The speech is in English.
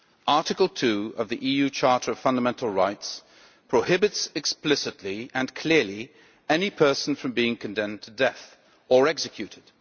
Article 2 of the EU Charter of Fundamental Rights prohibits, explicitly and clearly, any person from being condemned to death or executed.